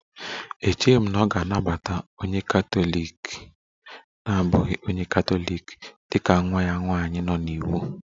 Echeghị m na ọ ga-anabata onye katọlik na-abụghị onye Katọlik dị ka nwa ya nwanyị nọ n'iwu